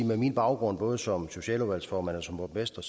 med min baggrund både som socialudvalgsformand og som borgmester